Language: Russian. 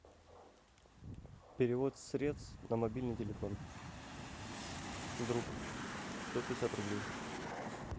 перевод средств на мобильный телефон друг сто пятьдесят рублей